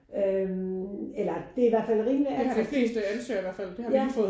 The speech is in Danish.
Øh eller det er i hvert fald rimelig attraktivt ja